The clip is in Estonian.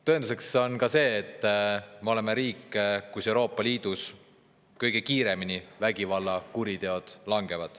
Tõenduseks on see, et me oleme Euroopa Liidus üks riik, kus kõige kiiremini vägivallakuritegude langeb.